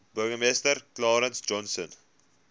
burgemeester clarence johnson